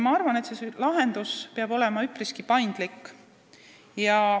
Ma arvan, et lahendus peab olema üpriski paindlik.